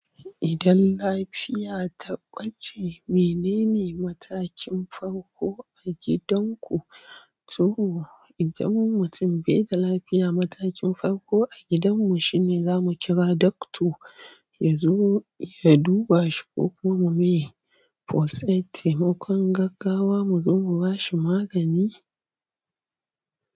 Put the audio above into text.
Idan lafiya ta ɓace, menene matakin farko a gidanku? To, idan mutum bai da lafiya, matakin farko a gidanmu shine za mu kira dokta, ya zo ya duba shi ko kuma mu yi fosaid, taimakon gaggawa mu zo mu ba shi magani.